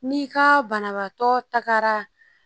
N'i ka banabaatɔ tagara